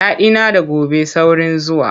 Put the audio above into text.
Daɗina da gobe saurin zuwa.